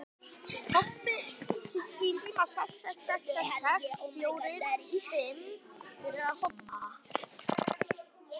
Svo margt hægt að gera.